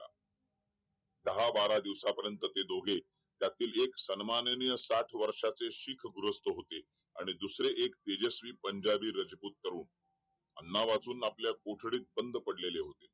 दहा बारा दिवसापर्यंत ते दोघे त्यातील एक सन्मानीय साठ वर्षाचे शीख गृहस्थ होते आणि दुसरे एक तेजस्वी पंजाबी रजपुतर हो अन्ना वाचून आपल्या कोठडीत बंद पडलेले होते